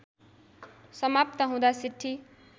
समाप्त हुँदा सिट्ठी